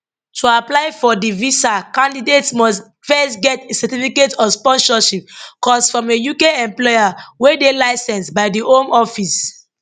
to apply for di visa candidates must first get a certificate of sponsorship cos from a uk employer wey dey licensed by di home office